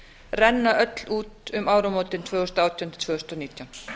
renna öll út um áramótin tvö þúsund og átján tvö þúsund og nítján